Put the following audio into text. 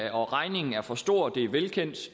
at regningen er for stor er velkendt